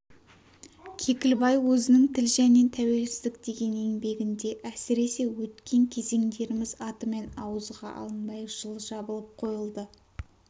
кекілбай өзінің тіл және тәуелсіздік деген еңбегінде әсіресе өткен кезеңдеріміз атымен ауызға алынбай жылы жабылып қойылды